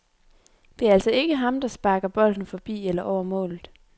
Det er altså ikke ham, der sparker bolden forbi eller over målet.